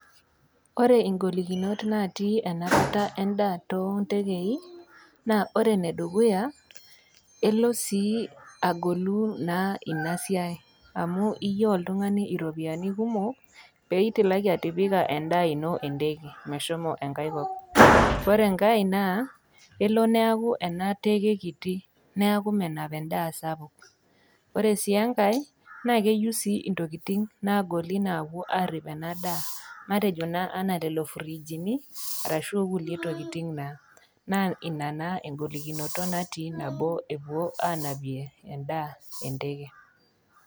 Ore ingolikinot natii enapata endaa too ndekei, naa ore enedukuya naa elo sii agolu ina siai amu iyeu oltung'ani iropiani kumok pee itilaki atipika endaa ino endeke meshomo engai kop. Ore engai naa elo neaku ena teke kiti neaku menap endaa sapuk. Ore sii engai, naa eyeu sii intokitin nagoli nawuo arip ena daa matejo naa anaa lelo frijini arashu okulie tokiti naa, naa ina naa engolikinoto nabo ewoi anapie endaa endege.